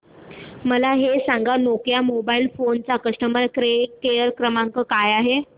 मला हे सांग नोकिया मोबाईल फोन्स चा कस्टमर केअर क्रमांक काय आहे